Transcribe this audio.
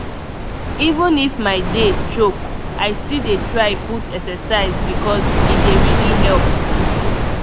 even if my day choke i still dey try put exercise because e dey really help.